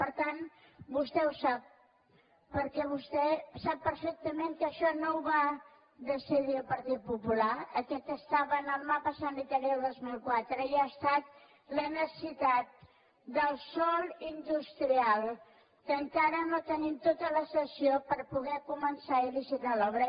per tant vostè ho sap perquè vostè sap perfectament que això no ho va decidir el partit popular aquest estava en el mapa sanitari del dos mil quatre i ha estat la necessitat del sòl industrial que encara no tenim tota la cessió per poder començar i licitar l’obra